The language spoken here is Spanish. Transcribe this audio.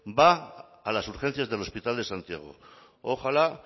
va a las urgencias del hospital de santiago ojalá